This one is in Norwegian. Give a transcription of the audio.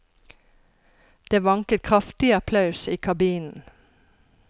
Det vanket kraftig applaus i kabinen.